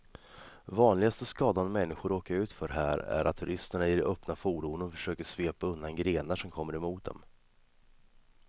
Vanligaste skadan människor råkar ut för här är att turisterna i de öppna fordonen försöker svepa undan grenar som kommer mot dem.